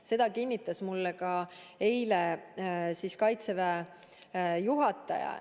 Seda kinnitas mulle eile ka Kaitseväe juhataja.